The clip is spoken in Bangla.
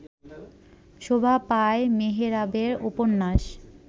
শোভা পায় মেহরাবের উপন্যাস